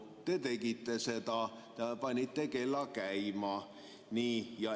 Te tegite seda, panite kella käima.